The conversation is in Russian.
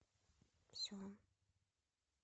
все